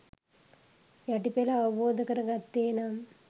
යටි පෙළ අවබෝධ කර ගත්තේ නම්